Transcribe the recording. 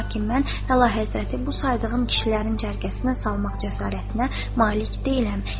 Lakin mən əlahəzrəti bu saydığım kişilərin cərgəsinə salmaq cəsarətinə malik deyiləm.